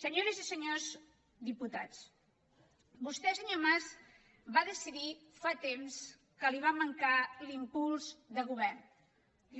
senyores i senyors diputats vostè senyor mas va decidir fa temps que li va mancar l’impuls de govern